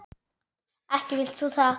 Ekki vilt þú það?